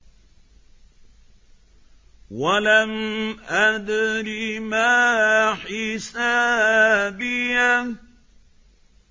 وَلَمْ أَدْرِ مَا حِسَابِيَهْ